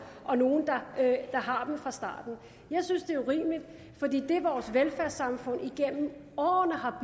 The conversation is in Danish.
og nogle der har dem fra starten jeg synes at det er urimeligt fordi det vores velfærdssamfund igennem årene har